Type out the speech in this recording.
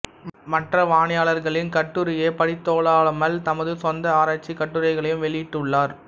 மற்ற வானியலாளா்களின் கட்டுரையைப் படித்ததோடல்லாமல் தமது சொந்த ஆராய்ச்சிக் கட்டுரைகளையும் வெளியிட்டுள்ளாா்